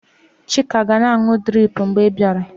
Chika ga-na anụ drip mgbe ị bịara.